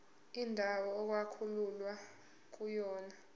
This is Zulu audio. indawo okwakulwelwa kuyona